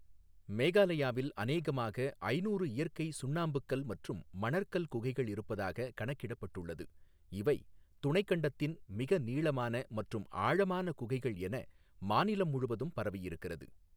மேகாலயாவில் அநேகமாக ஐநூறு இயற்கை சுண்ணாம்புக்கல் மற்றும் மணற்கல் குகைகள் இருப்பதாக கணக்கிடப்பட்டுள்ளது இவை துணைக் கண்டத்தின் மிக நீளமான மற்றும் ஆழமான குகைகள் என மாநிலம் முழுவதும் பரவியிருக்கிறது.